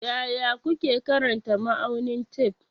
Yaya kuke karanta ma'aunin tef?